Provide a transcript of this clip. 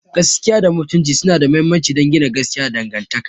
Gaskiya da Mutunci suna da mahimmanci don gina gaskiya da dangantaka.